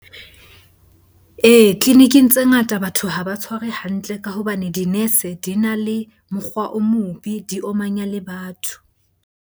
Ee, tleliniking tse ngata batho ha ba tshware hantle ka hobane di-nurse di na le mokgwa o mobe, di omanya le batho.